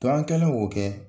an kɛlen k'o kɛ,